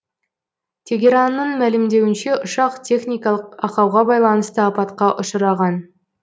тегеранның мәлімдеуінше ұшақ техникалық ақауға байланысты апатқа ұшыраған